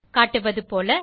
காட்டப்பட்டது போல